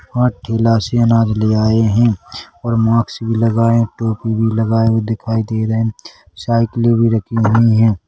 --और ठेला से अनाज ले आए है और मास्क भी लगाए टोपी भी लगाए हुए दिखाई दे रहे हैं साइकिले भी रखी हुई है।